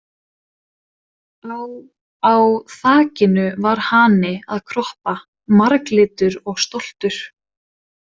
Á á þakinu var hani að kroppa, marglitur og stoltur.